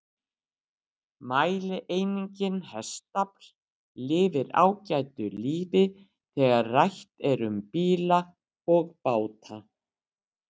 Mælieiningin hestafl lifir ágætu lífi þegar rætt er um bíla og báta.